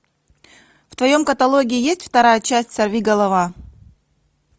в твоем каталоге есть вторая часть сорвиголова